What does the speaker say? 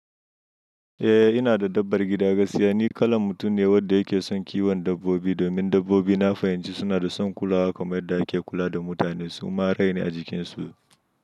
Eh, ina da dabbar gida, gaskiya ni kalan mutum ne wanda yake son kiwon dabbobi domin dabbobi na fahimci suna da son kulawa kamar yadda ake kula da mutane su ma raine a jikin su.